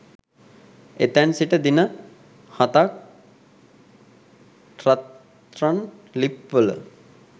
එතැන් සිට දින හතක් රත්රන් ලිප්වල,